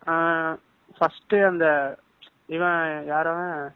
ஆஹ் first அந்த இவன் யார் அவன்